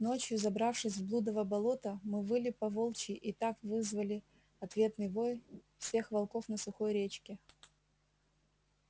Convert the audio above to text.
ночью забравшись в блудово болото мы выли по-волчьи и так вызвали ответный вой всех волков на сухой речке